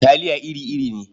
Talia iri-iri ne.